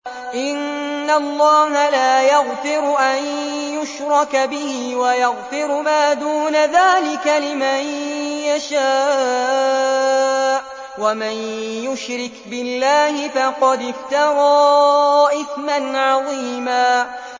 إِنَّ اللَّهَ لَا يَغْفِرُ أَن يُشْرَكَ بِهِ وَيَغْفِرُ مَا دُونَ ذَٰلِكَ لِمَن يَشَاءُ ۚ وَمَن يُشْرِكْ بِاللَّهِ فَقَدِ افْتَرَىٰ إِثْمًا عَظِيمًا